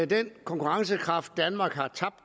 den konkurrencekraft danmark har tabt